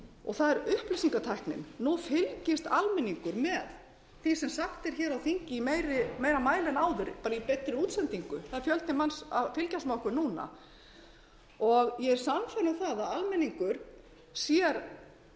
og það er upplýsingatæknin nú fylgist almenningur með því sem sagt er á þingi í meira mæli en áður í beinni útsendingu það er fjöldi manns að fylgjast með okkur núna ég er sannfærð um að almenningur sér